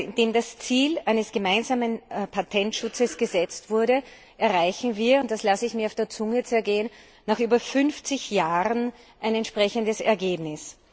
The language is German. Nachdem das Ziel eines gemeinsamen Patentschutzes gesetzt wurde, erreichen wir und das lasse ich mir auf der Zunge zergehen nach über 50 Jahren ein entsprechendes Ergebnis.